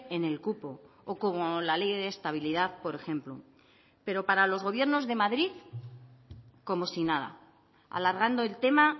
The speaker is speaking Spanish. en el cupo o como la ley de estabilidad por ejemplo pero para los gobiernos de madrid como si nada alargando el tema